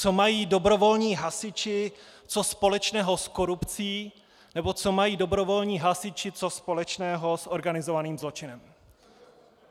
Co mají dobrovolní hasiči co společného s korupcí nebo co mají dobrovolní hasiči co společného s organizovaným zločinem?